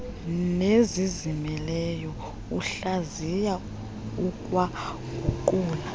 nezizimeleyo uhlaziya ukwaguqula